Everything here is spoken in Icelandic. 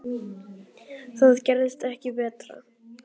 Það gerist ekki betra.